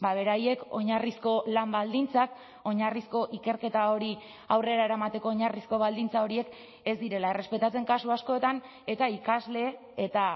beraiek oinarrizko lan baldintzak oinarrizko ikerketa hori aurrera eramateko oinarrizko baldintza horiek ez direla errespetatzen kasu askotan eta ikasle eta